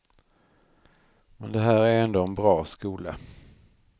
Men det här är ändå en bra skola.